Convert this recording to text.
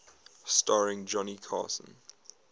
starring johnny carson